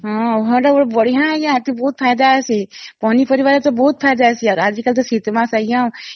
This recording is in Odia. ହଁ ଭଲ ବଢିଆ ୟା ବହୁତ ଫାଇଦା ଅଛି ପନି ପରିବା ରେ ବହୁତ ଫାଇଦା ଅଛି ୟାର ଆଜି କାଲି ତ ଶୀତ ମାସ ଆଂଜ୍ଞା